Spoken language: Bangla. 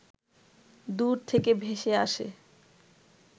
দূর থেকে ভেসে আসে